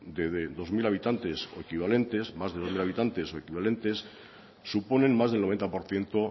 de dos mil habitantes o equivalentes más de dos mil habitantes o equivalentes suponen más del noventa por ciento